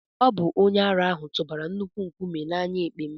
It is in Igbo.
Ọ bụ onye ara ahụ tụbara nnukwu nkume na anya èkpè m